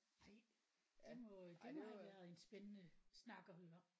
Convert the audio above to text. Ej det må det må have været en spændende snak at høre